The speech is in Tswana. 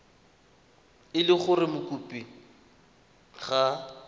e le gore mokopi ga